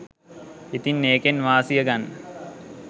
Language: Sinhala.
ඉතින් ඒකෙන් වාසිය ගන්න